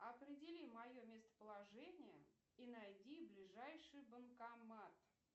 определи мое местоположение и найди ближайший банкомат